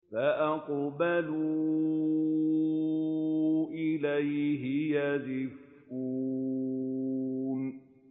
فَأَقْبَلُوا إِلَيْهِ يَزِفُّونَ